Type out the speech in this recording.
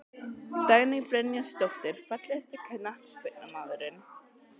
Dagný Brynjarsdóttir Fallegasti knattspyrnumaðurinn?